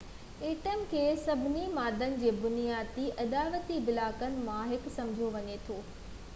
atom کي سڀني مادن جي بنيادي اڏاوتي بلاڪن مان هڪ سمجهيو وڃي ٿو